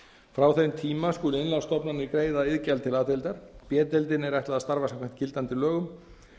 frá þeim tíma skulu innlánsstofnanir greiða iðgjald til a deildar b deildinni er ætlað að starfa samkvæmt gildandi lögum